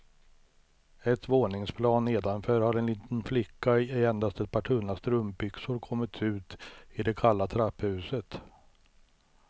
Ett våningsplan nedanför har en liten flicka i endast ett par tunna strumpbyxor kommit ut i det kalla trapphuset.